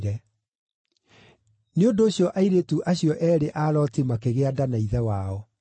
Nĩ ũndũ ũcio airĩtu acio eerĩ a Loti makĩgĩa nda na ithe wao.